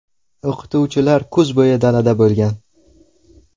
O‘qituvchilar kuz bo‘yi dalada bo‘lgan.